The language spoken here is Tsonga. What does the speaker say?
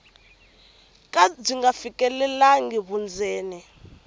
ka byi nga fikelelangi vundzeni